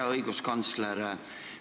Hea õiguskantsler!